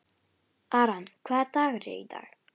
Aran, hvaða dagur er í dag?